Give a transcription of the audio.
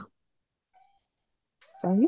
କାହିଁକି?